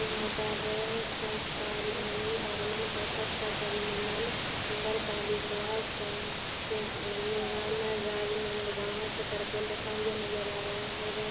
यहाँ पर संस्कार धनि आगमन पर सत सत अभिनंदन नगर पालिका से से निगम राजनन्द गांव छतरपुर लिखा हुआ नजर आ रहा हैं बह--